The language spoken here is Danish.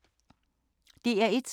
DR1